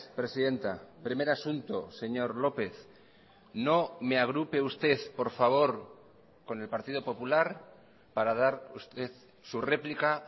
presidenta primer asunto señor lópez no me agrupe usted por favor con el partido popular para dar usted su réplica